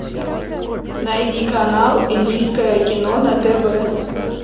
найди канал индийское кино на тв